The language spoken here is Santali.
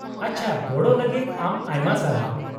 -ᱟᱪᱪᱷᱟ, ᱜᱚᱲᱚ ᱞᱟᱹᱜᱤᱫ ᱟᱢ ᱟᱭᱢᱟ ᱥᱟᱨᱦᱟᱣ ᱾